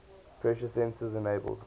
pressure sensors enabled